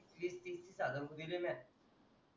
वीस तीस तीस हजार रुपये दिले म्या